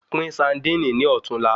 Pín saandíìnì ní ọ̀tún là